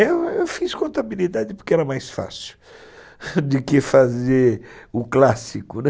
Eu fiz contabilidade porque era mais fácil do que fazer o clássico, né?